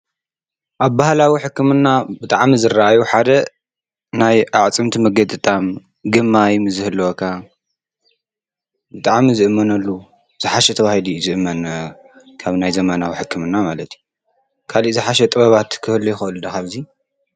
ኣብ ባህላዊ ሕክምና ብጣዕሚ ዝረአዩ ሓደ ናይ ኣዕፅምቲ ምግጥጣም ግማይ ምስዝህልወካ ብጣዕሚ ዝእመነሉ ዝሓሸ እዩ ተባሂሉ እዩ ዝእመን ካብ ናይ ዘመናዊ ህክምና ማለት እዩ፡፡ ካልእ ዝሓሸ ጥበባት ክህሉ ይኽእል ዶ ካብዚ?